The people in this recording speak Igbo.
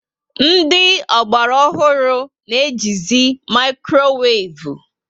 Ndị Ogbara ọhụrụ na eji zi maikroweivu